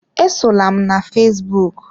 Esola m na fesbụụk!